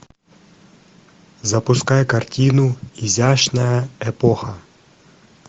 запускай картину изящная эпоха